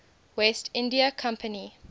west india company